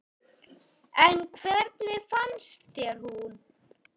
En hvernig fannst þér hún?